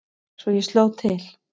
Svo ég sló til.